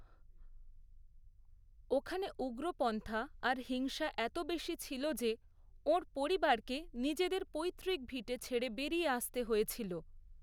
ওখানে উগ্রপন্থা আর হিংসা এত বেশি ছিল যে ওঁর পরিবারকে নিজেদের পৈতৃক ভিটে ছেড়ে বেরিয়ে আসতে হয়েছিল।